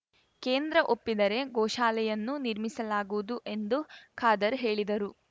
ಕೇಂದ್ರ ಒಪ್ಪಿದರೆ ಗೋಶಾಲೆಯನ್ನೂ ನಿರ್ಮಿಸಲಾಗುವುದು ಎಂದು ಖಾದರ್‌ ಹೇಳಿದರು